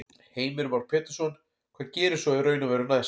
Heimir Már Pétursson: Hvað gerist svo í raun og veru næst?